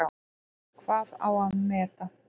Hvað á að meta?